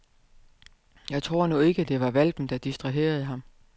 Jeg tror nu ikke, det kun var hvalpen der distraherede ham.